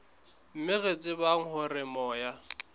mme re tshepa hore moya